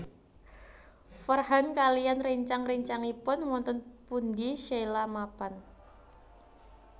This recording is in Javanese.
Farhan kaliyan réncang réncangipun wonten pundi Sheila mapan